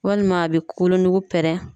Walima a be kolo nuku pɛrɛn.